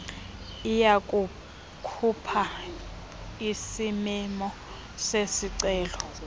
iyakukhupha isimemo sezicelo